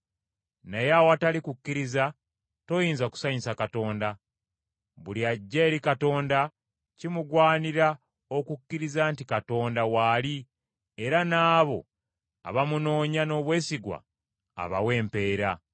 Naye awatali kukkiriza toyinza kusanyusa Katonda. Buli ajja eri Katonda kimugwanira okukkiriza nti Katonda waali era n’abo abamunoonya n’obwesigwa abawa empeera.